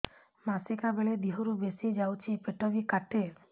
ମାସିକା ବେଳେ ଦିହରୁ ବେଶି ଯାଉଛି ପେଟ ବି କାଟେ